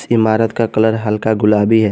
इमारत का कलर हल्का गुलाबी है।